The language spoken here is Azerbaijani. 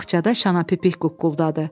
Baxçada şanapipik quqquldadı.